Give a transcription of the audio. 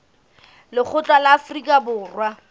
lekgotla la afrika borwa la